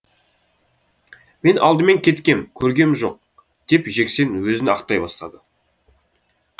мен алдымен кеткем көргем жоқ деп жексен өзін ақтай бастады